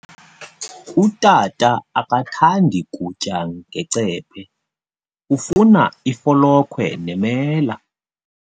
Utata akathandi kutya ngecephe, ufuna ifolokhwe nemela.